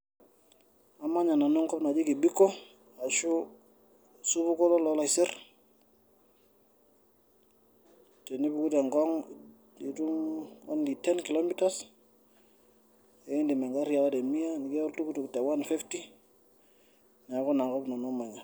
Amanya nanu enkop naji kibiko ashuu osupuko loloolaiser ,tenipuku te Ngong nitum only ten kilometers ekindiim engari aawa te mia nikita oltukutuk te one fifty neeku inakop nanu amanya.